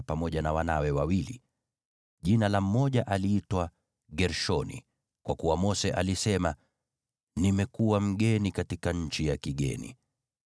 pamoja na wanawe wawili. Jina la mmoja aliitwa Gershomu, kwa kuwa Mose alisema, “Nimekuwa mgeni katika nchi ya kigeni.”